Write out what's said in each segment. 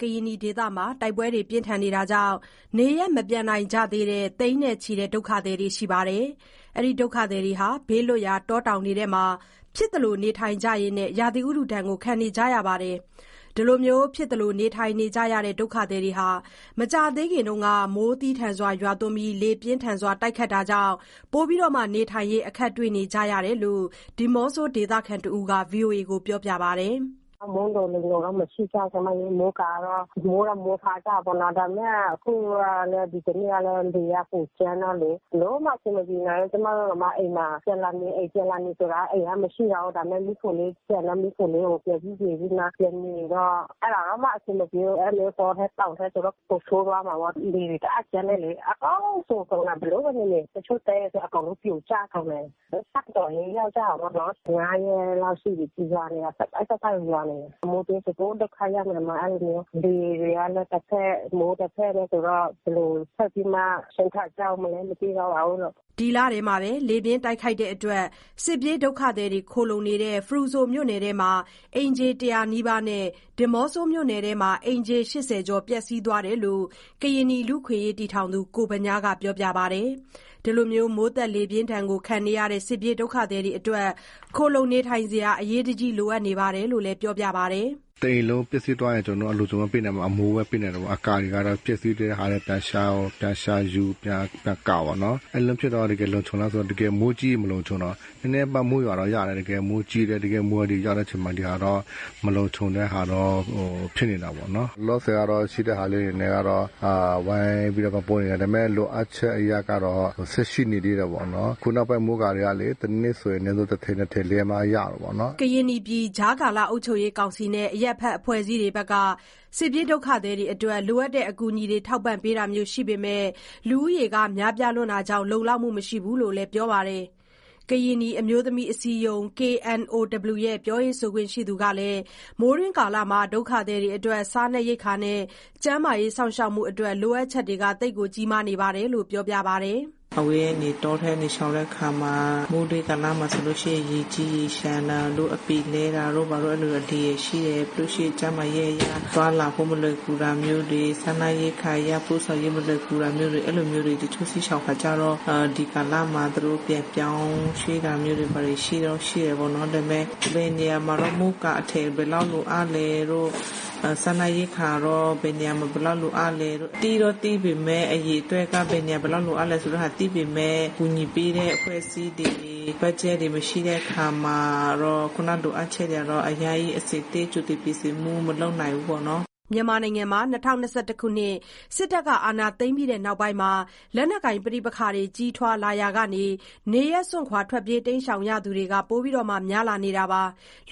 ကရင်နီဒေသမှာ စစ်ပွဲတွေကြောင့် နေရပ်မပြန်နိုင်ကြသေးတဲ့ သိန်းနဲ့ချီတဲ့ ဒုက္ခသည်တွေ ဘေးလွတ်ရာ တောတောင်တွေမှာ ဖြစ်သလို နေထိုင်ကြရင်း ရာသီဥတုဒဏ်ခံနေကြရတာပါ။ ဖြစ်သလို နေထိုင်နေကြရတဲ့ ဒုက္ခသည်တွေ မကြာသေးခင်က မိုးသည်းထန်၊ လေပြင်းထန်ကြောင့် ပိုပြီးအခက်တွေ့နေရတယ်လို့လည်း ဒီးမော့ဆို ဒေသခံတစ်ဦးက ပြောပါတယ်။ “မိုးလုံလေလုံတော့ မရှိကြဘူး၊ မိုးကာတော့ မိုးတော့မိုးထားကြတယ်ပေါ့နော်၊ ဒါပေမဲ့ အခု ဒီတနေ့ကတော့ လေကပိုကြမ်းတော့လေ ဘယ်လိုမှအဆင်မပြေနိုင်ဘူး။ ကျမတို့တောင်မှ အိမ်မှာ ပြန်လာနေ၊ အိမ်ပြန်လာနေဆိုတာ အိမ်က မရှိတော့ဘူး ဒါပေမယ့် မီးဖိုလေး ကျန်တော့ မီးဖိုလေးကို ပြန်ပြုပြင်ပြီးမှ ပြန်နေတော့ အဲ့ဒါတောင်မှ အဆင်မပြေ အဲ့လိုမျိုး တောထဲတောင်ထဲဆိုတော့ ပိုဆိုးသွားမှာပေါ့။ လေတအားကြမ်းတယ်လေ အကုန်စိုကုန်တယ် ဘယ်လိုနေနေ တချို့တဲဆို အကုန်လုံးပြိုကျကုန်တယ်။ ဒုက္ခတော်တော်ရောက်ကြတယ်ပေါ့နော်။ ၅ရက်လောက်ရှိပြီး ရွာနေတာ ဆက်တိုက်ဆက်တိုက်ကို ရွာနေတယ်။ မိုးတွင်းဆို ပိုဒုက္ခရောက်မယ် အဲ့လို လေတွေကလည်း တဖက် မိုးတဖက်နဲ့ဆိုတော့ ဘယ်လို ဆက်ပြီးမှ ဒုက္ခကျရောက်မလဲ မသိတော့ပါဘူးလို့။” ဒီလထဲမှာပဲ လေပြင်းတိုက်ခတ်မှုကြောင့် စစ်ပြေးဒုက္ခသည်ခိုလှုံနေတဲ့ ဖရူဆိုမြို့နယ်မှာ အိမ်ခြေ ၁၀၀ နီးပါးနဲ့ ဒီးမော့ဆိုမြို့နယ်မှာ အိမ်ခြေ ၈၀ ကျော် ပျက်စီးသွားတယ်လို့ ကရင်နီလူ့အခွင့်အရေးအဖွဲ့ တည်ထောင်သူ ကိုဗညားက ပြောပါတယ်။ မိုးသက်လေပြင်းဒဏ်ခံရတဲ့ ဒုက္ခသည်တွေအတွက် ခိုလှုံစရာတွေ အရေးတကြီး လိုအပ်နေတယ်လို့လည်း ပြောပါတယ်။ “တအိမ်လုံးပျက်စီးသွားရင် ကျနော်တို့ အလွန်ဆုံး အမိုးပဲ ပေးနိုင်တယ်ပေါ့၊ အကာတွေကတော့ ပျက်စီးတဲ့ထဲ ပြန်ရှာယူ ပြန်ကာပေါ့နော်။ အဲ့လိုဖြစ်သွားတော့ တကယ်လုံခြုံလားဆိုတော့ တကယ်မိုးကြီးရင် မလုံခြုံတော့ဘူး နည်းနည်းပါးပါး မိုးရွာတော့ ရတယ်။ တကယ်မိုးကြီးတယ် တကယ်မိုးရာသီရောက်တဲ့ အချိန်မှာ ဒီဟာတော့ မလုံခြုံတဲ့ဟာတော့ ဖြစ်နေတာပေါ့နော်။ လောလောဆယ်ကတော့ ရှိတဲ့ဟာလေးနဲ့ ဝိုင်ပြီးတော့ ပံ့ပိုးနေတယ်၊ ဒါပေမယ့် လိုအပ်ချက် အရကတော့ ဆက်ရှိနေသေးတာပေါ့နော်။ အခုနောက်ပိုင်းမိုးကာတွေကလေ တစ်နှစ်ဆိုရင် အနည်းဆုံး တစ်ထည် နှစ်ထည် လဲမှရတာပေါ့နော်။” ကရင်နီပြည် ကြားကာလအုပ်ချုပ်ရေးကောင်စီနဲ့ အရပ်ဖက်အဖွဲ့အစည်းတွေက ဒုက္ခသည်တွေအတွက် လိုအပ်တဲ့အကူအညီတွေ ထောက်ပံ့ပေးတာမျိုးရှိပေမယ့် လူဦးရေများပြားတာကြောင့် လုံလောက်မှု မရှိဘူးလို့လည်း ပြောပါတယ်။ ကရင်နီအမျိုးသမီးအစည်းအရုံး ရဲ့ ပြောရေဆိုခွင့်ရှိသူ တစ်ဦးကလည်း မိုးတွင်းကာလမှာ ဒုက္ခသည်တွေအတွက် စားနပ်ရိက္ခာနဲ့ ကျန်းမာရေးစောင့်ရှောက်မှုအတွက် လိုအပ်ချက်တွေ ကြီးမားနေတယ်လို့ ပြောပါတယ်။ “အဝေးကနေ တောထဲမှာရှောင်တဲ့အခါမှာ မိုးတွင်ကာလမှာဆိုလို့ရှိရင် ရေကြီးရေလျှံတာနဲ့ အပင်လဲတာတို့ဘာတို့ အဲ့လိုရှိတယ်။ ပြီးလို့ရှိရင် ကျန်းမာရေးအရ သွားလာဖို့မလွယ်ကူတာမျိုးတွေ စားနပ်ရိက္ခာ ပို့ဆောင်ရေး မလွယ်ကူတာမျိုးတွေ အဲ့လိုမျိုးတွေ တချို့စစ်ရှောင်ခါကျတော့ ဒီကာလမှာ သူတို့ ပြန်ပြောင်းရွှေ့တာမျိုးတွေ ရှိတော့ရှိတယ်ပေါ့နော်။ ဒါပေမယ့် ဘယ်နေရာမှာ မိုးကာအထည် ဘယ်လောက်လိုအပ်လဲတို့ စားနပ်ရိက္ခာ ဘယ်နေရာမှာ ဘယ်လောက်လိုအပ်လဲ သိတော့သိပေမယ့် အရေအတွက်က ဘယ်လောက်လိုအပ်မယ်ဆိုတဲ့ဟာ သိပေမယ့် ကူညီပေးတဲ့ အဖွဲ့အစည်းတွေ ဘတ်ဂျက်တွေ မရှိတဲ့အခါမှာတော့ ခုနလိုအပ်ချက်တွေကတော့ အဆင်သင့် ကြိုတင်ပြင်ဆင်မှု မလုပ်နိုင်ဘူးပေါ့နော်။” မြန်မာနိုင်ငံမှာ ၂၀၂၁ ခုနှစ် စစ်အာဏာသိမ်းပြီးနောက်ပိုင်း လက်နက်ကိုင် ပဋိပက္ခတွေ ကြီးထွားလာရာက နေရပ်စွန့်ခွာသူတွေလည်း ပိုများလာနေတာပါ။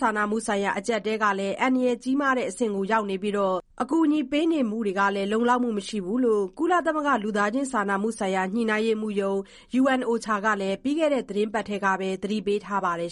စာနာမှုဆိုင်ရာ အကျပ်အတည်းဟာ အန္တရာယ်ကြီးမားတဲ့အဆင့်အထိ ရောက်လာနေပြီး၊ အကူအညီတွေဟာလည်း လုံလောက်မှု မရှိဘူးလို့ ကုလသမဂ္ဂ လူသားချင်းစာနာမှုဆိုင်ရာ ညှိနှိုင်းရေးမှူးရုံး ကလည်း ပြီးခဲ့တဲ့ သီတင်းပတ်ထဲမှာပဲ သတိပေးထားပါတယ်